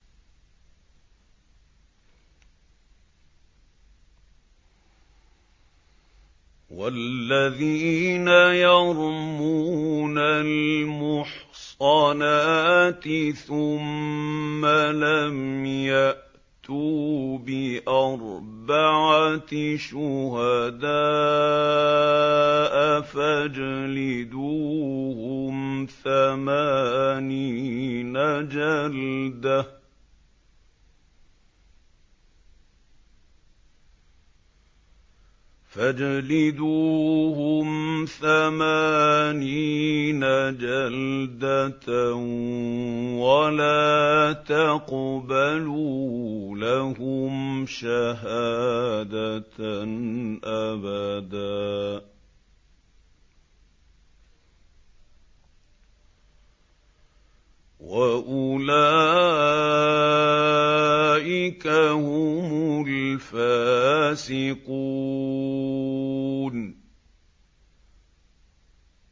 وَالَّذِينَ يَرْمُونَ الْمُحْصَنَاتِ ثُمَّ لَمْ يَأْتُوا بِأَرْبَعَةِ شُهَدَاءَ فَاجْلِدُوهُمْ ثَمَانِينَ جَلْدَةً وَلَا تَقْبَلُوا لَهُمْ شَهَادَةً أَبَدًا ۚ وَأُولَٰئِكَ هُمُ الْفَاسِقُونَ